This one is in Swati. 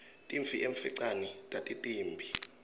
timphi emfecane tatitimbi